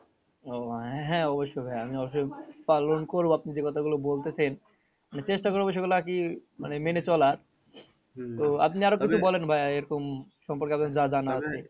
ও আহ হ্যাঁ অবশ্যই আমি অবশ্যই পালন করবো আমি যে কথা গুলো বলতেছেন মানে চেষ্টা করবো সেগুলো আরকি মানে মেনে চলার আপনি আরও কিছু বলেন ভাইয়া এরকম সম্পর্কে আপনার যা জানা